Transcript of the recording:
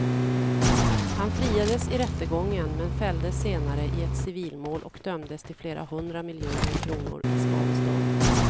Han friades i rättegången men fälldes senare i ett civilmål och dömdes till flera hundra miljoner kronor i skadestånd.